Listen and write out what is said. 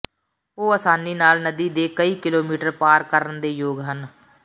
ਉਹ ਆਸਾਨੀ ਨਾਲ ਨਦੀ ਦੇ ਕਈ ਕਿਲੋਮੀਟਰ ਪਾਰ ਕਰਨ ਦੇ ਯੋਗ ਹਨ